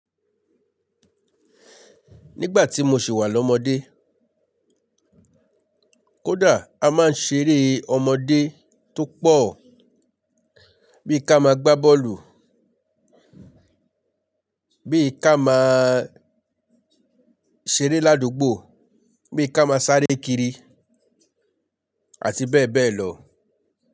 Nígbà tí mo ṣè wà lọ́mọdé, kódà a máa ń ṣeré ọmọdé tó pọ̀, bí i ká máa gbá bọ́ọ̀lù, bí i ká máa ṣeré ládùúgbò, bí i ká máa sáré kiri àti bẹ́ẹ̀ bẹ́ẹ̀ lọ.